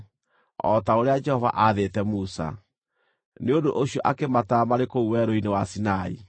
o ta ũrĩa Jehova aathĩte Musa. Nĩ ũndũ ũcio akĩmatara marĩ kũu Werũ-inĩ wa Sinai: